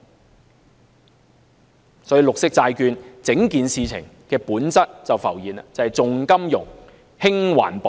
如此一來，綠色債券整件事情的本質便浮現了，就是重金融，輕環保。